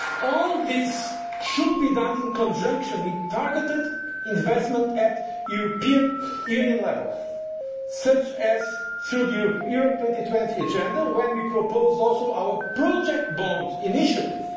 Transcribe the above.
All this should be done in conjunction with targeted investment at European Union level, such as through the Europe 2020 Agenda, where we propose also our project bond